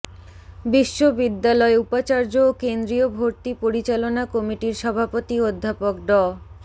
বিশ্ববিদ্যালয় উপাচার্য ও কেন্দ্রীয় ভর্তি পরিচালনা কমিটির সভাপতি অধ্যাপক ড